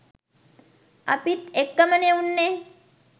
අපිත් එක්කමනේ උන්නේ.